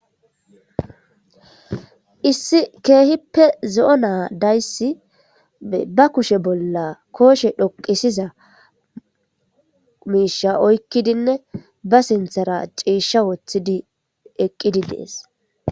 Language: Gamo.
Issi keehippe zi7o na dayssi ba kushe bolla kooshe dhoqisiza miisha oykkidinne ba sinthara ciisha woththidi eqqidi dees.